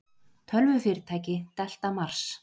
Tölvufyrirtæki, Delta Mars.